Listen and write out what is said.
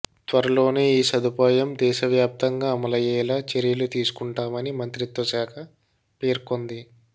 త్వరలోనే ఈ సదుపాయం దేశవ్యాప్తంగా అమలయ్యేలా చర్యలు తీసుకుంటామని మంత్రిత్వ శాఖ పేర్కొంది